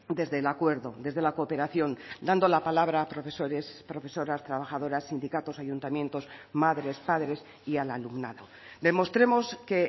desde el acuerdo desde la cooperación dando la palabra a profesores profesoras trabajadoras sindicatos ayuntamientos madres padres y al alumnado demostremos que